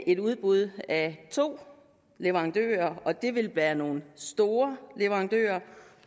et udbud af to leverandører og det vil være nogle store leverandører